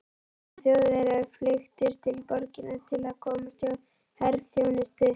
Ungir Þjóðverjar flykktust til borgarinnar til að komast hjá herþjónustu.